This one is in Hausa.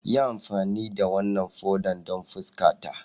Yi amfani da wannan foda don fuskata!